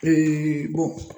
Eee bɔn